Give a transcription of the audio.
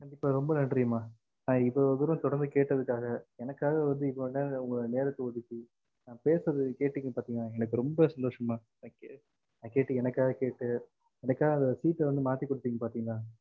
கண்டிப்பா ரொம்ப நன்றி மா ந இவளவு தூரம் தொரர்ந்து கேட்டதுக்க்காக எனக்காக உங்க நேரத்த ஒதுக்கி ந பேசுறத கேட்டிங்க அத்தின்களா எனக்கு ரொம்ப சந்தோசம் ம thank you ந கேட்டு எனக்காக கேட்டு எனக்காக seat மாத்திகுடுத்திங்க பாத்திங்களா